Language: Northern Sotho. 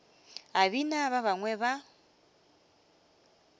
a bina ba bangwe ba